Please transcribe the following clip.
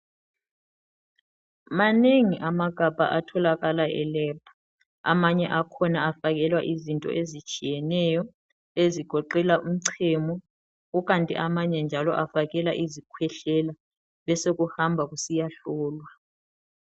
Manengi amagabha etholakala e"lab" amanye akhona afakelwa izinto ezitshiyeneyo ezigoqela umchemo kukanti amanye njalo afakelwa izikhwehlela bese kuhamba kusiya hlolwa.